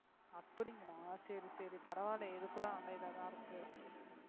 அப்படிங்களா சரி சரி பரவாயில்லை இது கூட நல்லா இதாதான் இருக்கு